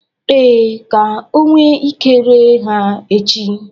Ee, ka o nwe Ike ree ha echi